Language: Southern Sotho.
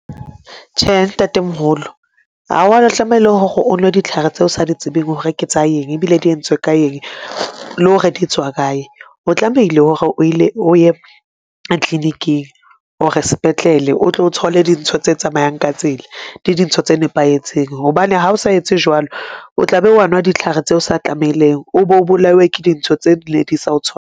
Tjhe, Ntate-moholo hawa tlamehile hore o nwe ditlhare tseo sa di tsebeng hore ke tsa eng ebile di entswe ka eng le hore di tswa kae. O tlamehile hore o ye clinic-ing or spetlele, o tlo thole dintho tse tsamayang ka tsela di dintho tse nepahetseng hobane ha o sa etse jwalo o tla be wa nwa ditlhare tse sa tlamehileng o bo bolawe ke dintho tseo di ne di sa o tshwa.